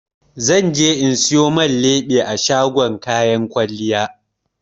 Zan je in siyo man leɓe a shagon kayan kwalliya.